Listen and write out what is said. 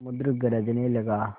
समुद्र गरजने लगा